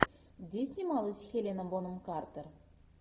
где снималась хелена бонем картер